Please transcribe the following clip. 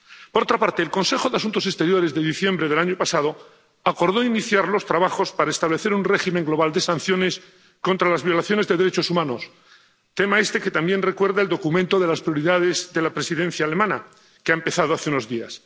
Por otra parte, el Consejo de Asuntos Exteriores de diciembre del año pasado acordó iniciar los trabajos para establecer un régimen global de sanciones contra las violaciones de derechos humanos, tema este que también recuerda el documento de las prioridades de la Presidencia alemana, que ha empezado hace unos días.